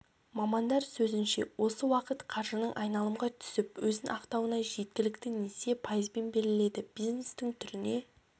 мамандар сөзінше осы уақыт қаржының айналымға түсіп өзін ақтауына жеткілікті несие пайызбен беріледі бизнестің түріне